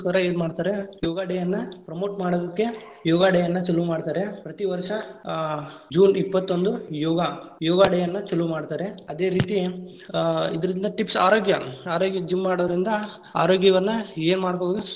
ಏನ್‌ ಮಾಡ್ರಾರೆ, ಯೋಗಾ day ಯನ್ನ promote ಮಾಡೋದಿಕ್ಕೆ ಯೋಗಾ day ಯನ್ನ ಚಲೂ ಮಾಡ್ತಾರೆ. ಪ್ರತಿ ವರ್ಷ ಆ june ಇಪ್ಪತ್ತೊಂದು ಯೋಗಾ. ಯೋಗಾ day ಯನ್ನ ಚಲೂ ಮಾಡ್ತಾರೆ. ಅದೇ ರೀತಿ ಆ ಇದರಿಂದ tips ಆರೋಗ್ಯ, ಆರೋಗ್ಯ ‌gym ಮಾಡೋದ್ರಿಂದ ಆರೋಗ್ಯವನ್ನ ಏನ್‌ ಮಾಡ್ಕೊಬೋದು.